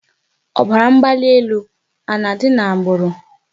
Ọbara mgbali elu a na-adị n'agbụrụ?